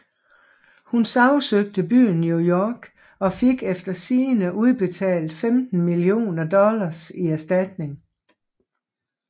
Hun sagsøgte byen New York og fik efter sigende udbetalt 15 millioner dollars i erstatning